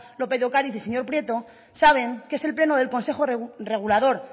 lópez de ocariz y señor prieto saben que es el pleno del consejo regulador